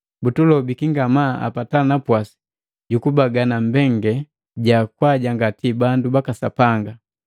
butulobiki ngamaa apata napwasi jukubagana mbengalelu ja kwajangati bandu baka Sapanga.